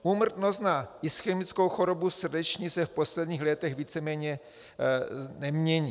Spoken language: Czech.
Úmrtnost na ischemickou chorobu srdeční se v posledních letech nicméně nemění.